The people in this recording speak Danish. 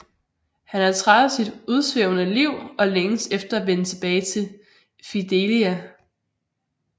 Han er træt af sit udsvævende liv og længes efter at vende tilbage til Fidelia